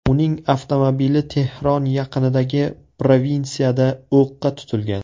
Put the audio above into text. Uning avtomobili Tehron yaqinidagi provinsiyada o‘qqa tutilgan.